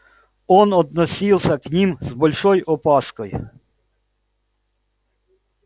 он относился к ним с большой опаской